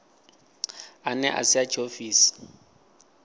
ane a si a tshiofisi